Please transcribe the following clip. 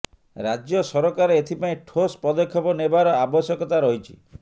ରାଜ୍ୟ ସରକାର ଏଥିପାଇଁ ଠୋସ୍ ପଦକ୍ଷେପ ନେବାର ଆବଶ୍ୟକତା ରହିଛି